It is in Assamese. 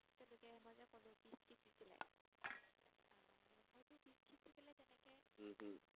উম হম